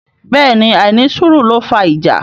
Bẹ́ẹ̀ ni àìnísùúrù ló fà ìjà.